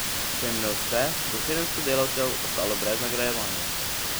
Če jim ne uspe, bo sedemsto delavcev ostalo brez nagrajevanja.